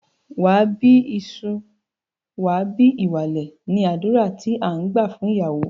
Wà á bí ìsun, wà á bí ìwàlè! ni àdúrà tí à ń gbà fún ìyàwó.